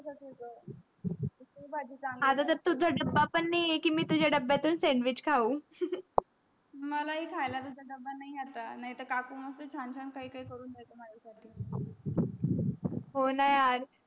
आता तर तुझा दबा पण नाही आहे कि मी तुझा डब्यातून sandwich खाऊ मला हि खाय ला तुझ दबा नाही आहे आत नाहीतर काकू छान छान काही काही करून द्यायची माझा साठी हो न यार.